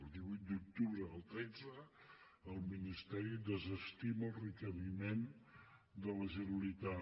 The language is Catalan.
el divuit d’octubre del tretze el ministeri desestima el requeriment de la generalitat